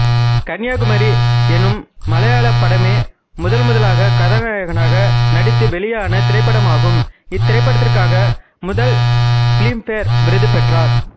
கன்னியாகுமரி எனும் மலையாள படமே முதன் முதலாக கதாநாயகனாக நடித்து வெளியான திரைப்படமாகும் இத்திரைப்படதிற்காக முதல் பிலிம்பேர் விருது பெற்றார்